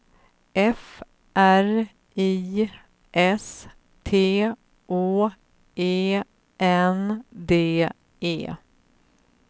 F R I S T Å E N D E